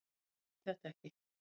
Skiljiði þetta ekki?